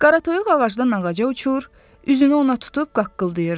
Qaratoyuq ağacdan ağaca uçur, üzünü ona tutub qaqqıldayırdı.